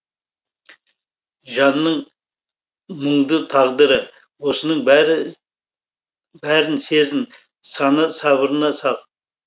жанның мұңды тағдыры осының бәрін сезін саны сабырына сал